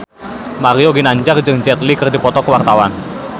Mario Ginanjar jeung Jet Li keur dipoto ku wartawan